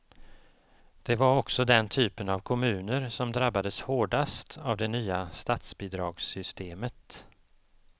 Det var också den typen av kommuner som drabbades hårdast av det nya statsbidragssystemet.